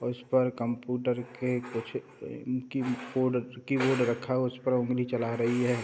और इस पर कंप्यूटर के कुछ अ अ की-बोर्ड की-बोर्ड रखा हुआ है और उस पर ऊँगली चला रही है ।